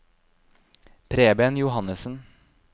Preben Johannesen